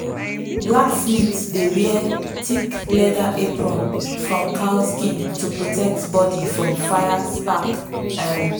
blacksmith dey wear thick leather apron from cow skin to protect body from fire spark. um